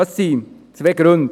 Dafür gibt es zwei Gründe: